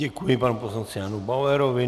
Děkuji panu poslanci Janu Bauerovi.